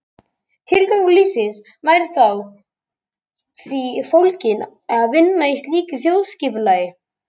Tilgangur lífsins væri þá í því fólginn að vinna að slíku þjóðskipulagi.